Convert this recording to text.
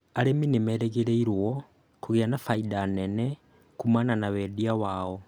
Arĩmi nĩmerĩgĩrĩirwo kũgĩa na baida nene kumana na wendia wao